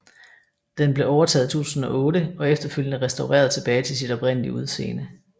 Den blev overtaget i 2008 og efterfølgende restaureret tilbage til sit oprindelige udseende